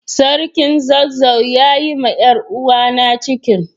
sarkin zazzau ya Yi ma yaruwa na cikin